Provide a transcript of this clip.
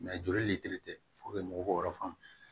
joli tɛ mɔgɔw yɔrɔ fan